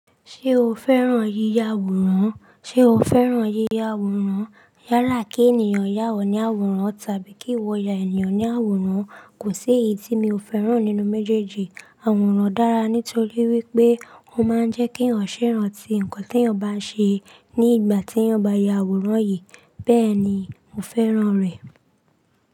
Ṣé o fẹ́ràn yíya àwòrán? Sé o fẹ́ràn yíya àwòrán? Yála kí ènìyàn yà ọ ní àwòrán tàbí kí ìwo ya ènìyàn ní àwòrán. Kò sí èyí tí mi ò fẹ́ràn nínú méjèèjì. Àwòrán dára nítorí wípé ó máa ń jẹ́ kí ọ̀ṣẹ́ ran ti ǹkan tí ọ̀ bá ṣe ní ìgbà tí ọ̀ bá ya àwòrán yìí. Bẹ́ẹ̀ ni, mo fẹ́ràn rẹ̀.